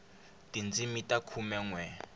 tindzimi ta khume nwe